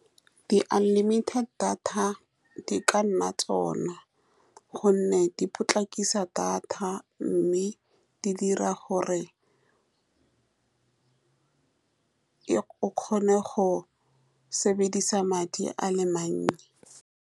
Di-unlimited data di ka nna tsone, ka gonne di potlakisa data, mme di dira gore e o kgone go sebedisa madi a le mannye.